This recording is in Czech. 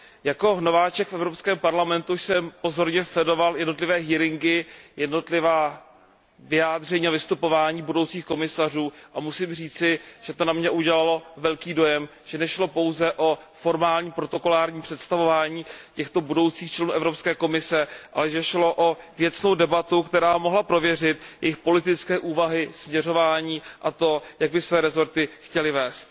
Jako nováček v Evropském parlamentu jsem pozorně sledoval jednotlivá slyšení, jednotlivá vyjádření a vystupování budoucích komisařů a musím říci, že to na mě udělalo veliký dojem, že nešlo pouze o formální protokolární představování těchto budoucích členů Evropské komise, ale že šlo o věcnou debatu, která mohla prověřit jejich politické úvahy, směřování, a to, jak by své rezorty chtěli vést.